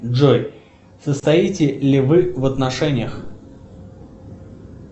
джой состоите ли вы в отношениях